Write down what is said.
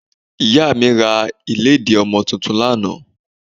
Ìyá mi ra ìlédìí ọmọ tuntun lánàá